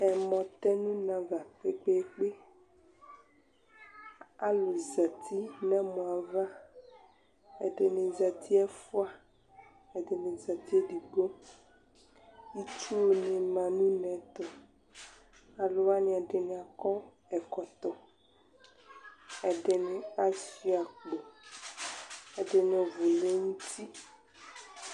ɛmɔ tɛ nʊ une ava ɔbʊ, aluzati nʊ ɛmɔ yɛ ava, ɛdɩnɩ zati ɛfua, ɛdɩnɩ zati edigbo, itsu nima nʊ une yɛ tʊ, alʊwanɩ ɛdɩnɩ akɔ ɛkɔtɔ, ɛdɩnɩ asuia akpo, ɛdɩnɩ vlɛ nuti